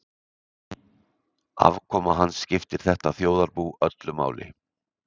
Afkoma hans skiptir þetta þjóðarbú öllu máli.